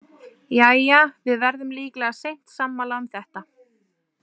Jæja, við verðum líklega seint sammála um þetta.